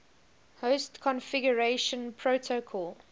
host configuration protocol